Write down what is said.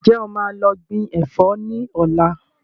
Ǹjẹ́ o máa lọ gbìn Ẹ̀fọ́ ni ọ̀la?